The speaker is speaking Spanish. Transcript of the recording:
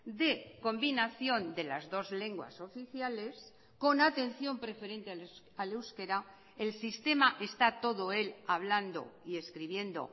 de combinación de las dos lenguas oficiales con atención preferente al euskera el sistema está todo él hablando y escribiendo